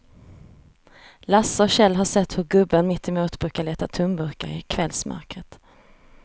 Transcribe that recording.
Lasse och Kjell har sett hur gubben mittemot brukar leta tomburkar i kvällsmörkret.